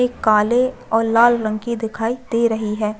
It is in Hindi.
एक काले और लाल रंग की दिखाई दे रही है।